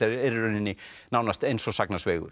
eru í rauninni nánast eins og